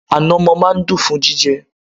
Ànàmọ́ máa n dun fún jíjẹ